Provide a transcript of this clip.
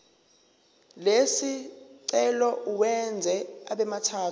lesicelo uwenze abemathathu